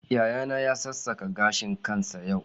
Yayana ya sassaka gashin kansa yau.